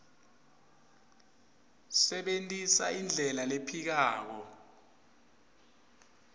sebentisa indlela lephikako